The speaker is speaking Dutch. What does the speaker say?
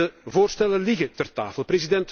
En de voorstellen liggen ter tafel.